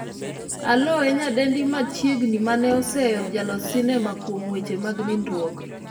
Aloo e nyadendi machiegni mane oseyo jalos sinema kuom weche mag nindruok